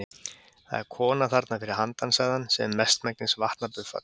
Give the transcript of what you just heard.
Það er kona þarna fyrir handan sagði hann, sem er mestmegnis vatnabuffall.